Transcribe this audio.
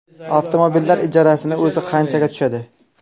Avtomobillar ijarasini o‘zi qanchaga tushadi.